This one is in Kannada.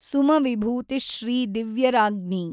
ಸುಮವಿಭೂತಿ ಶ್ರೀ ದಿವ್ಯರಾಜ್ಙಿ!